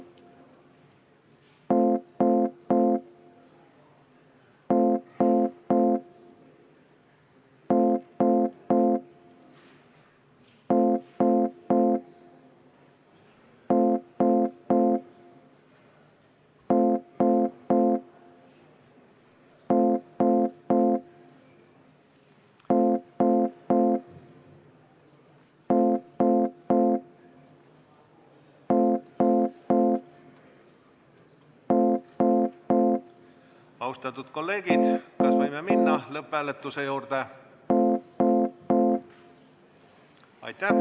Austatud kolleegid, kas võime minna lõpphääletuse juurde?